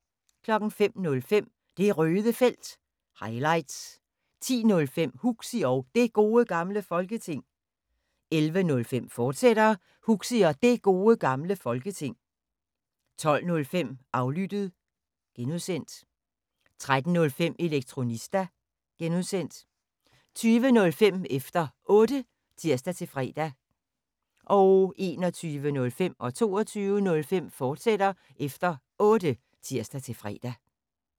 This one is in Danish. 05:05: Det Røde Felt – highlights 10:05: Huxi og Det Gode Gamle Folketing 11:05: Huxi og Det Gode Gamle Folketing, fortsat 12:05: Aflyttet (G) 13:05: Elektronista (G) 20:05: Efter Otte (tir-fre) 21:05: Efter Otte, fortsat (tir-fre) 22:05: Efter Otte, fortsat (tir-fre)